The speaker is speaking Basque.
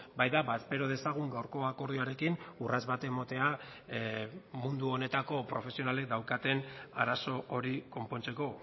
baita espero dezagun gaurko akordioarekin urrats bat ematea mundu honetako profesionalek daukaten arazo hori konpontzeko